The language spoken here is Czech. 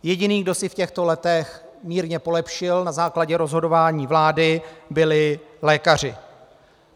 Jediný, kdo si v těchto letech mírně polepšil na základě rozhodování vlády, byli lékaři.